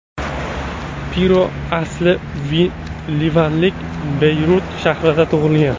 Piro asli livanlik, Beyrut shahrida tug‘ilgan.